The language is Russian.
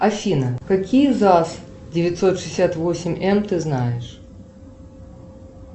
афина какие заз девятьсот шестьдесят восемь эм ты знаешь